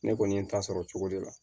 Ne kɔni ye n ta sɔrɔ cogo de la